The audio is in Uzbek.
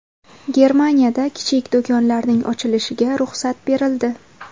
Germaniyada kichik do‘konlarning ochilishiga ruxsat berildi.